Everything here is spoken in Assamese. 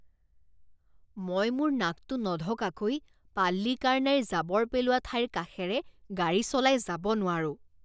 মই মোৰ নাকটো নঢকাকৈ পাল্লিকাৰনাইৰ জাবৰ পেলোৱা ঠাইৰ কাষেৰে গাড়ী চলাই যাব নোৱাৰোঁ।